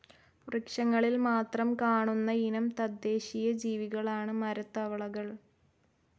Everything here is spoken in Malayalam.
വൃക്ഷങ്ങളിൽ മാത്രം കാണുന്നയിനം തദ്ദേശ്ശീയ ജീവികളാണ്‌ ട്രീ തവളകൾ.